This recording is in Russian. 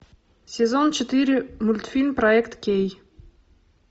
сезон четыре мультфильм проект кей